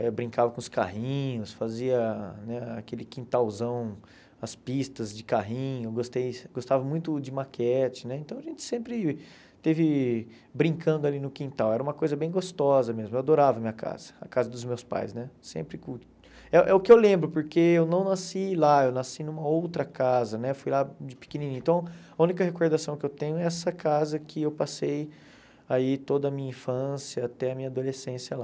eu brincava com os carrinhos, fazia né aquele quintalzão, as pistas de carrinho, eu gostei gostava muito de maquete né, então a gente sempre esteve brincando ali no quintal, era uma coisa bem gostosa mesmo, eu adorava a minha casa, a casa dos meus pais né, sempre cul é é o que eu lembro, porque eu não nasci lá, eu nasci em uma outra casa né, fui lá de pequenininho, então a única recordação que eu tenho é essa casa que eu passei aí toda a minha infância até a minha adolescência lá.